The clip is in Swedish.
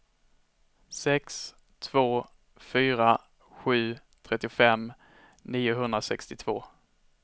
sex två fyra sju trettiofem niohundrasextiotvå